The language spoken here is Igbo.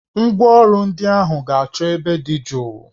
Ngwa ọrụ ndị ahụ ga-achọ ebe dị jụụ